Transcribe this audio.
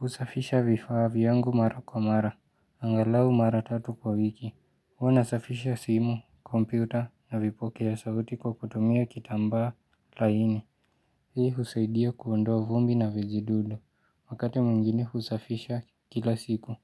Usafisha vifaa viyangu mara kwa mara, angalau mara tatu kwa wiki, uwanasafisha simu, kompyuta na vipoke ya sauti kwa kutumia kitambaa laini Hii husaidia kuondoa vumbi na vijidudu, wakati mwingine husafisha kila siku,